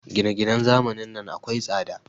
Gine-ginen zamanin nan akwai tsada.